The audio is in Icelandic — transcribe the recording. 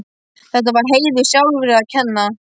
Þetta var Heiðu sjálfri að kenna.